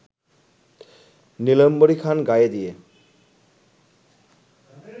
নীলাম্বরীখান গায়ে দিয়ে